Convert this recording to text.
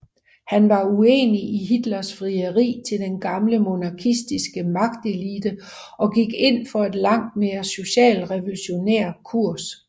Han var uenig i Hitlers frieri til den gamle monarkistiske magtelite og gik ind for en langt mere socialrevolutionær kurs